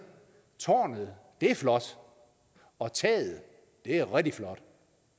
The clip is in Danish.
tårnet det er flot og taget det er rigtig flot